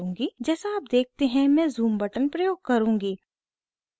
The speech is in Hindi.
जैसा आप देखते हैं मैं ज़ूम बटन प्रयोग करुँगी